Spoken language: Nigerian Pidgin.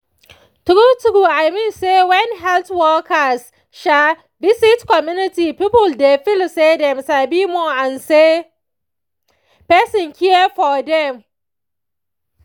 true true i mean say when health workers visit community people dey feeli say dem sabi more and say person care for dem